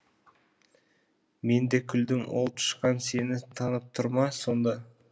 мен де күлдім ол тышқан сені танып тұр ма сонда